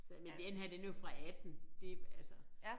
Sagde jeg men denne her den er jo fra 18 det altså